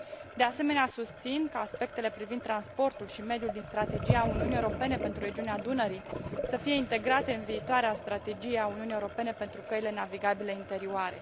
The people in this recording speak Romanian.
De asemenea, susțin că aspectele privind transportul și mediul din strategia Uniunii Europene pentru regiunea Dunării să fie integrate în viitoarea strategie a Uniunii Europene pentru căile navigabile interioare.